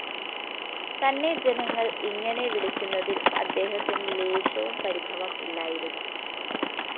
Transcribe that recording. തന്നെ ജനങ്ങള്‍ ഇങ്ങനെ വിളിക്കുന്നതില്‍ അദ്ദേഹത്തിനു ലേശവും പരിഭവം ഇല്ലായിരുന്നു